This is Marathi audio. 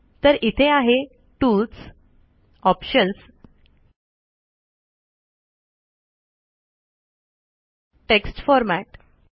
तर इथे आहे टूल्स ऑप्शन्स टेक्स्ट फोर्मेट